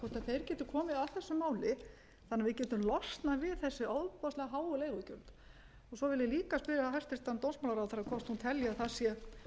gætu komið að þessu máli þannig að við gætum losnað við þessi ofboðslega háu leigugjöld svo vil ég líka spyrja hæstvirtan dómsmálaráðherra hvort hún telji að það sé